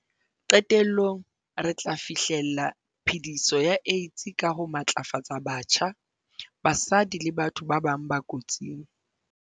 Qetellong, re tla fi hlella phe-diso ya AIDS ka ho matlafatsa batjha, basadi le batho ba bang ba kotsing.